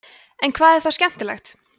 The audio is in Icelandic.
en hvað er þá skemmtilegt